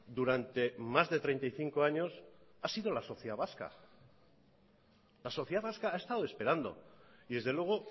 durante más de treinta y cinco años ha sido la sociedad vasca la sociedad vasca ha estado esperando y desde luego